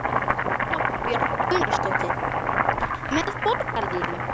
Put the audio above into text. Erla Björg Gunnarsdóttir: Með Borgarlínu?